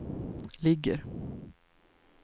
ligger